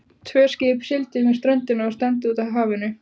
Tvö skip sigldu með ströndinni og stefndu út úr hafinu.